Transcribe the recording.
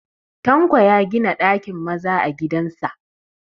Tanko ya gina ɗakin maza a gidan sa